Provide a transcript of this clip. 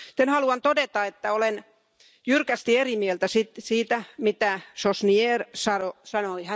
Haluan todeta, että olen jyrkästi eri mieltä siitä, mitä Sośnierz sanoi.